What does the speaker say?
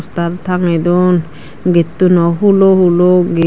tar tangey don gettuno hulo hulo get.